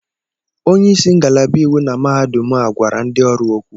Onyeisi ngalaba iwu na mahadum a gwara ndị ọrụ okwu.